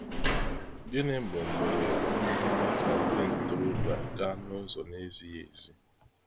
Gịnị bụ mgbọrọgwụ na eme ka ndị ntorobịa gaa n’ụzọ na ezighi ezi?